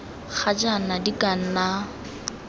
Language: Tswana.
ga jaana di ka nna